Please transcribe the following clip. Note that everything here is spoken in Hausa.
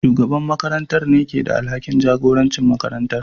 Shugaban makarantar ne ke da alhakin jagorancin makarantar.